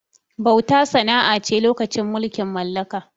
Bauta sana'a ce lokacin mulkin mallaka